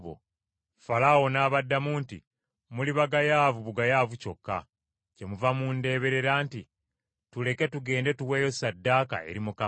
Falaawo n’abaddamu nti, “Muli bagayaavu bugayaavu kyokka. Kyemuva mundeeberera nti, ‘Tuleke tugende tuweeyo ssaddaaka eri Mukama .’